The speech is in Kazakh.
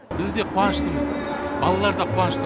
біз де қуаныштымыз балалар да қуанышты